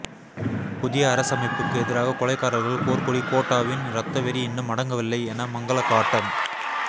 புதிய அரசமைப்புக்கு எதிராக கொலைகாரர்கள் போர்க்கொடி கோட்டாவின் இரத்தவெறி இன்னும் அடங்கவில்லை என மங்கள காட்டம்